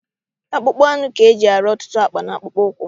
Akpụkpọ anụ ka eji arụ ọtụtụ akpa, na akpụkpọ ụkwụ